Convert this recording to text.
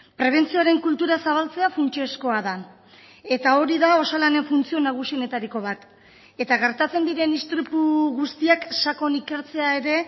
prebentzioaren kultura zabaltzea funtsezkoa da eta hori da osalanen funtzio nagusienetariko bat eta gertatzen diren istripu guztiak sakon ikertzea ere